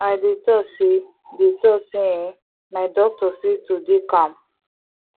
i dey talk say dey talk say eeh my doctor say to dey calm